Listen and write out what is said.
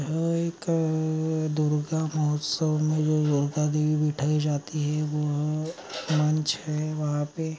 हई का दुर्गा मौसम दुर्गा देवी बैठाई जाती है वह मंच है वहाँ पे --